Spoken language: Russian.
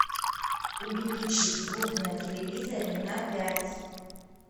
увеличить звук на телевизоре на пять